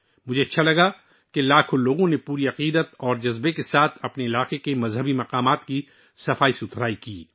مجھے اچھا لگا کہ لاکھوں لوگ عقیدت کے ساتھ شامل ہوئے اور اپنے علاقے کے مذہبی مقامات کی صفائی کی